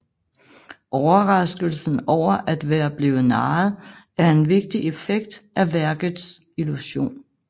Overraskelsen over at være blevet narret er en vigtig effekt af værkets illusion